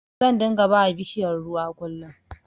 Zan dunga bawa bishiyar ruwa kullin